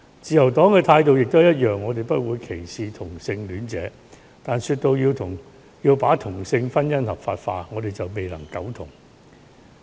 自由黨的態度也一樣，我們不會歧視同性戀者，但說到要把同性婚姻合法化，我們就未能苟同。